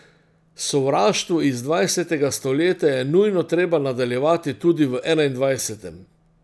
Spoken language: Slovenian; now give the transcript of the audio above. Sovraštvo iz dvajsetega stoletja je nujno treba nadaljevati tudi v enaindvajsetem.